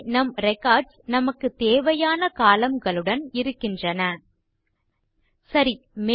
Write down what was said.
இங்கே நம் ரெக்கார்ட்ஸ் நமக்கு தேவையான கோலம்ன் களுடன் இருகின்றன சரி